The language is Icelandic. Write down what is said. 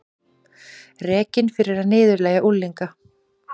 Rekinn fyrir að niðurlægja unglinga